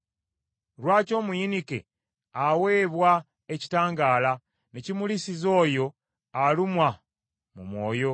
“Lwaki omuyinike aweebwa ekitangaala, ne kimulisiza oyo alumwa mu mwoyo,